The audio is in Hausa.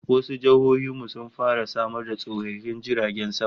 Eh, wasu jihohin mu sun fara samar da tashoshin jiragen sama